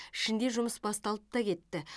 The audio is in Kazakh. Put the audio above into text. ішінде жұмыс басталып та кетті